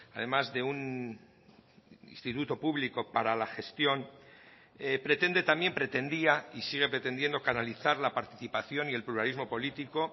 además de un instituto público para la gestión pretende también pretendía y sigue pretendiendo canalizar la participación y el pluralismo político